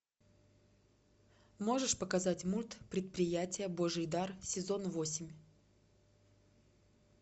можешь показать мульт предприятие божий дар сезон восемь